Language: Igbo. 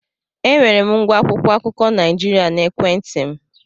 Enwere m ngwa akwụkwọ akụkọ Naịjirịa n'ekwentị m.